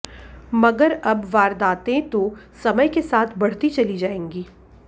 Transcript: मगर अब वारदातें तो समय के साथ बढ़ती चली जाएंगी